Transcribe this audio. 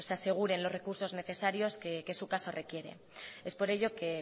aseguren los recursos necesarios que su caso requiere es por ello que